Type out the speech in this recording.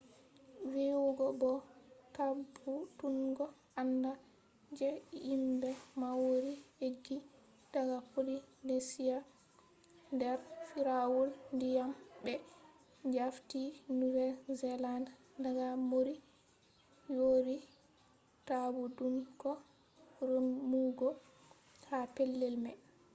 vi’ugo bo tabbutungo andal je himɓe maori eggi daga polynesia der firawol ndiyam ɓe jafti new zealand daga moriori tabbutungo remugo ha pellel mai